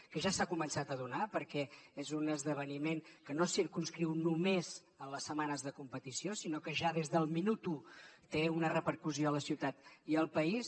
que ja s’ha començat a donar perquè és un esdeveniment que no se circumscriu només en les setmanes de competició sinó que ja des del minut u té una repercussió a la ciutat i al país